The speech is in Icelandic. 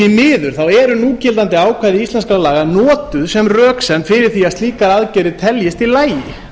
því miður eru núgildandi ákvæði íslenskra laga notuð sem röksemd fyrir því að slíkar aðgerðir teljist í lagi